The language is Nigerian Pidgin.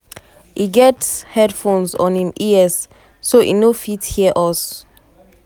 e get headphones on im ears so e no fit hear us.